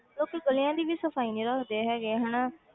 ਲੋਕੀ ਗਲੀਆਂ ਦੀ ਵੀ ਸਫ਼ਾਈ ਨੀ ਰੱਖਦੇ ਹੈਗੇ ਹਨਾ